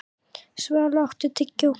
Svali, áttu tyggjó?